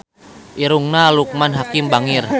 Irungna Loekman Hakim bangir